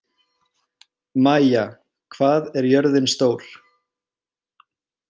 Maia, hvað er jörðin stór?